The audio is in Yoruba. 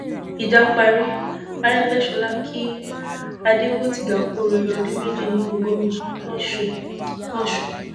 ìjà parí àrègbèsọlá kí adégbòtiga kù oríire ọdún méjì nípò gómìnà losùn losùn